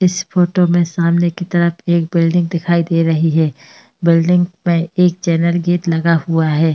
इस फोटो में सामने की तरफ एक बिल्डिंग दिखाई दे रही है। बिल्डिंग में एक चैनल गेट लगा हुआ है।